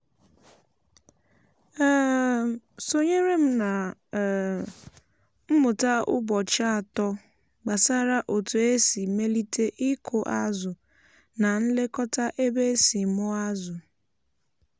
e um sonyere m na um mmụta ụbọchị atọ gbasara otu esi melite ịkụ azụ na ilekọta ebe e si mụọ azụ.